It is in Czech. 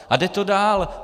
A jde to dál.